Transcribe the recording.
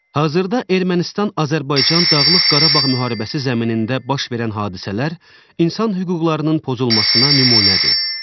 Hazırda Ermənistan-Azərbaycan Dağlıq Qarabağ müharibəsi zəminində baş verən hadisələr insan hüquqlarının pozulmasına nümunədir.